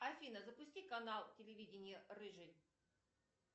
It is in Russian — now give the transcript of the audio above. афина запусти канал телевидения рыжий